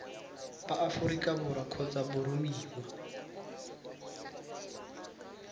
ba aforika borwa kgotsa boromiwa